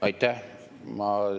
Aitäh!